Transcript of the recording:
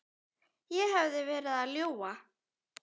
Ég hefði verið að ljúga.